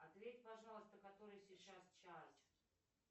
ответь пожалуйста который сейчас час